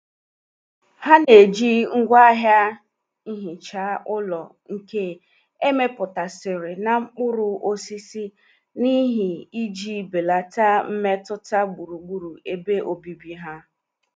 Ha na-eji ngwaahịa nhicha ulo nke emeputasiri na mkpuru osisi n'ihi iji belata mmetụta gburugburu ebe obibi ha.